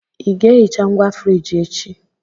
Ị ga-ehicha ngwa friji echi?